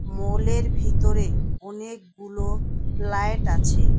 মলের ভিতরের অনেকগুলো লায়েট আছে।